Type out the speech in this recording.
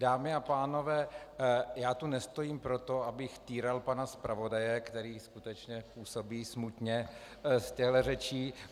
Dámy a pánové, já tu nestojím proto, abych týral pana zpravodaje, který skutečně působí smutně z těchhle řečí.